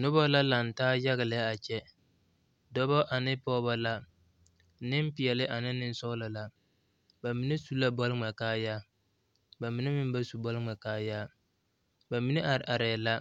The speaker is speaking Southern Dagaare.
Noba la laŋ taa yaga lɛ a kyɛ dɔba ane pɔgeba la nempeɛle ane nensɔglɔ la ba mine su la bɔle ŋmɛ kaayaa ba mine meŋ ba su bɔle ŋmɛ kaayaa ba mine are arɛɛ la